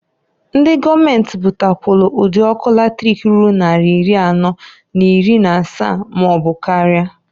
Ndi gọọmenti butakwalụ ụd' ọkụ latrik ruru nnari iri anọọ n'iri n'asaa maọbụ karịa.